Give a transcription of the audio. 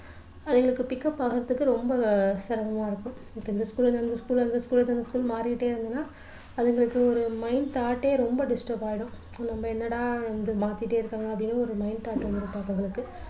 அதுகளுக்கு pikc up ஆகுறதுக்கு ரொம்ப அஹ் சிரமமா இருக்கும் இந்த school ல இருந்து அந்த school அந்த school மாறிட்டே இருந்தோம்னா அதுங்களுக்கு ஒரு mind thought ஏ ரொம்ப disturb ஆயிடும் நம்ம என்னடா வந்து மாத்திட்டே இருக்காங்க அப்படின்னு ஒரு mind அவங்களுக்கு